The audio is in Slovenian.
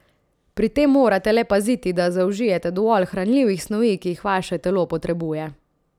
Pri tem morate le paziti, da zaužijete dovolj hranljivih snovi, ki jih vaše telo potrebuje.